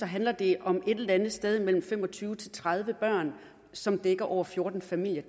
handler det om mellem fem og tyve og tredive børn som dækker over fjorten familier